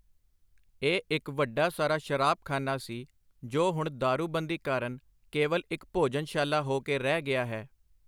ਇਹ ਇਕ ਵੱਡਾ ਸਾਰਾ ਸ਼ਰਾਬ-ਖਾਨਾ ਸੀ, ਜੋ ਹੁਣ ਦਾਰੂਬੰਦੀ ਕਾਰਨ ਕੇਵਲ ਇਕ ਭੋਜਨਸ਼ਾਲਾ ਹੋ ਕੇ ਰਹਿ ਗਿਆ ਹੈ.